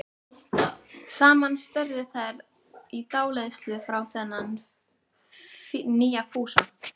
Saman störðu þær í dáleiðslu á þennan nýja Fúsa.